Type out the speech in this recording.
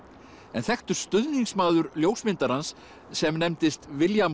en þekktur stuðningsmaður ljósmyndarans sem nefndist William